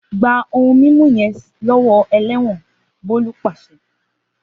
Gba ohun didasilẹ yẹn lọwọ ẹlẹ́wọ̀nBolu paṣẹ